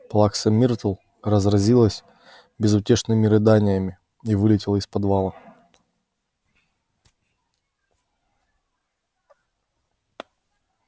плакса миртл разразилась безутешными рыданиями и вылетела из подвала